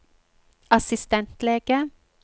assistentlege